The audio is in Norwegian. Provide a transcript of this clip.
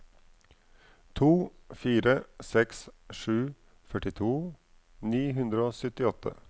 to fire seks sju førtito ni hundre og syttiåtte